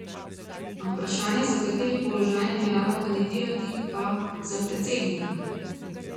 Na vprašanje, za kateri položaj namerava kandidirati, pa: "Za predsednika.